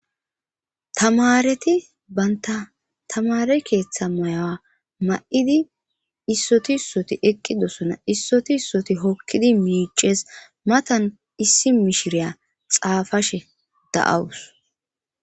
tamareti baynta tamare keeththa mayawa ma7idi issoti issoti eqqidosona issoti ssoti hokkidi miices matan issi mishiriya xaafashe da7awus